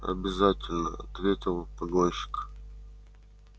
обязательно ответил погонщик